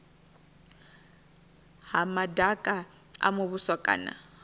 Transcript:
ha madaka a muvhuso kana